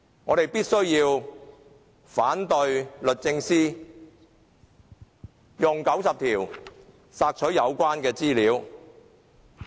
我們必須反對律政司根據《議事規則》第90條索取有關資料。